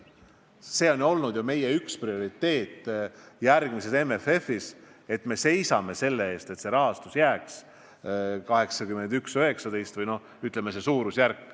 See on ju olnud üks meie prioriteet järgmises MFF-is, et me seisame selle eest, et rahastus suhtes 81 : 19 jääks kehtima.